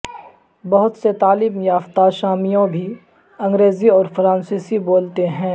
بہت سے تعلیم یافتہ شامیوں بھی انگریزی اور فرانسیسی بولتے ہیں